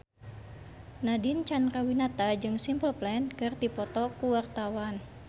Nadine Chandrawinata jeung Simple Plan keur dipoto ku wartawan